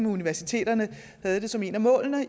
universiteterne havde det som et af målene